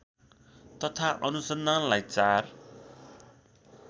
तथा अनुसन्धानलाई चार